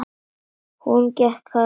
Hún gekk hægt.